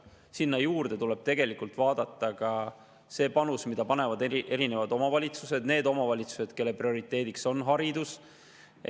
Sinna juurde tuleb tegelikult vaadata ka seda panust, mille annavad erinevad omavalitsused, need omavalitsused, kelle prioriteediks on haridus.